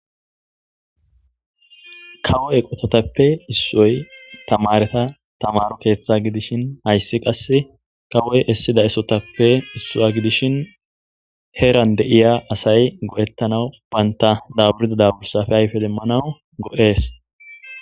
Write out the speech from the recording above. Kawo eqotatape isoyi tamareta tamaro keththa gidishshin hayiss qase kawoyi isida isotappe issuwa gidishshin heranni de'iya asayi go'etanawu banita daburida daburappe ayife demanawu go'ees.